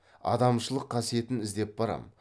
адамшылық қасиетін іздеп барам